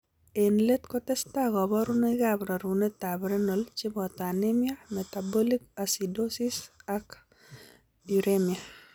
Eng' let kotestai kaborunoikap rerunetab renal cheboto anemia, metabolic acidosis ak uremia.